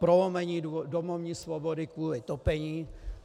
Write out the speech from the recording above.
Prolomení domovní svobody kvůli topení.